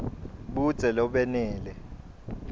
budze lobenele